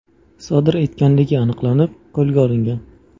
sodir etganligi aniqlanib, qo‘lga olingan.